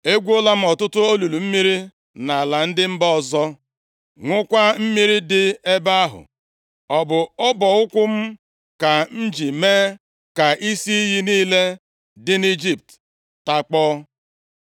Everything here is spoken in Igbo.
Egwuola m ọtụtụ olulu mmiri nʼala ndị mba ọzọ, ṅụkwa mmiri dị nʼebe ahụ. Ọ bụ ọbụ ụkwụ m ka m ji mee ka isi iyi niile dị nʼIjipt takpọọ.”